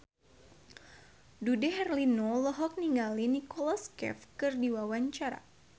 Dude Herlino olohok ningali Nicholas Cafe keur diwawancara